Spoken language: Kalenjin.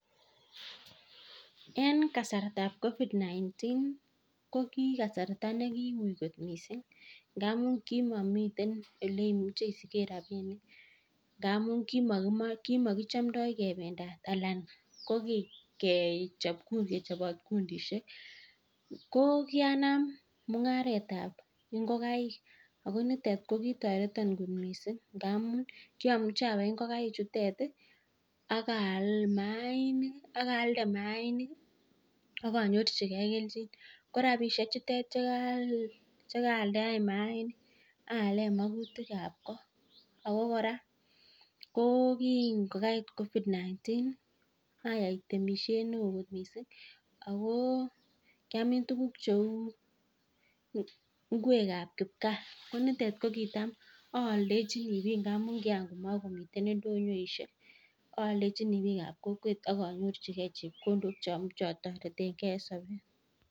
En kasartab covid-19 ko kasarta nekiuiy kot mising, ngamun komomiten ole imuche isiken rabinik ngamun kimokichomdoi kebendat anan ko kechobot kundishek. Ko kianam mung'aret ab ngokaik ago nitet ko kitoreton kot mising, ngamun kiomuche abai ingkenik chutet ak aalde maanik ak onyorchige kelchin ko rabishek chutet che kaaldaen maainik aalen magutik ab kot ago kora ko kingo kait covid-19 ayai temisiet neo kot mising ago kyamin tuguk cheu ngwek ab kipgaa ko nitet ko kitam oldechini biik ngamun kigakomogomiten ndonyoishek oldechini biik ab kokwet ak anyorchige chepkondok che otoretenge en sobet.